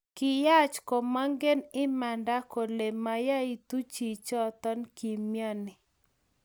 Kiyach komaken imanda kolee mayaitu chichoton kimyani